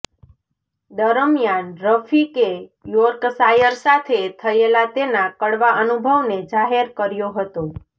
દરમિયાન રફીકે યોર્કશાયર સાથે થયેલા તેના કડવા અનુભવને જાહેર કર્યો હતો